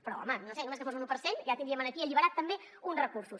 però home no ho sé només que fos un u per cent ja tindríem aquí alliberats també uns recursos